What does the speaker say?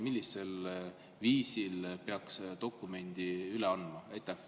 Millisel viisil peaks dokumendi üle andma?